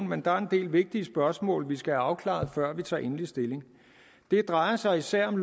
men der er en del vigtige spørgsmål vi skal have afklaret før vi tager endelig stilling det drejer sig især om